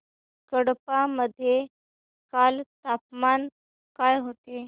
कडप्पा मध्ये काल तापमान काय होते